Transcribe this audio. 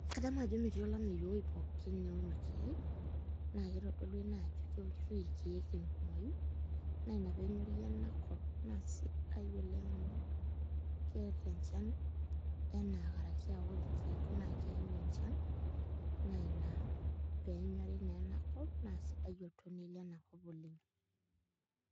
Kadamu ajo metii olameyu ewuei pookin neuno irkeek naa kitodolu ene ajo keunitoi irkeek tenkumoi naa ina pee enyori enakop naa sidai oleng' amu keeta enchan enaa karaki ore irkeek naa keyau enchan na ina pee enyori naa enakop naa sidai oltoniei lenakop oleng'.